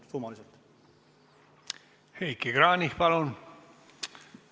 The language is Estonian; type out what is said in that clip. Heiki Kranich, palun!